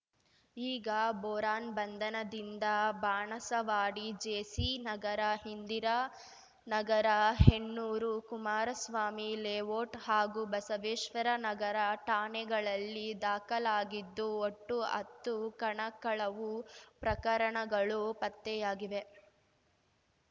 ಈಗ ಬೋರಾನ್ ಬಂಧನದಿಂದ ಬಾಣಸವಾಡಿ ಜೆಸಿನಗರ ಇಂದಿರಾನಗರ ಹೆಣ್ಣೂರು ಕುಮಾರಸ್ವಾಮಿ ಲೇವೋಟ್‌ ಹಾಗೂ ಬಸವೇಶ್ವರ ನಗರ ಠಾಣೆಗಳಲ್ಲಿ ದಾಖಲಾಗಿದ್ದು ಒಟ್ಟು ಹತ್ತು ಕಣ ಕಳವು ಪ್ರಕರಣಗಳು ಪತ್ತೆಯಾಗಿವೆ